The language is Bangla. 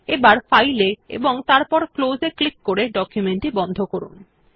এবার ফাইল এ এবং তারপর ক্লোজ এ ক্লিক করে ডকুমেন্ট টি বন্ধ করুন